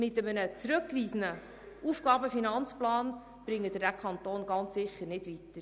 Mit einem zurückgewiesenen AFP bringen Sie den Kanton ganz sicher nicht weiter.